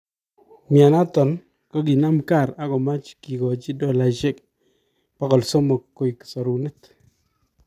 Myanoton kokinam kaar akomach kikochi dolaisiek 300 koek sorunet